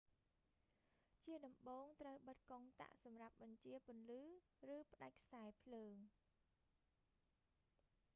ជាដំបូង ត្រូវបិទកុងតាក់សម្រាប់បញ្ចាពន្លឺ ឬ ផ្តាច់ខ្សែរភ្លើង